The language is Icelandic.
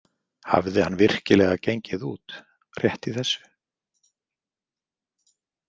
Hafði hann virkilega gengið út rétt í þessu?